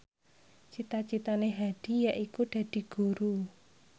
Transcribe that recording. cita citane Hadi yaiku dadi guru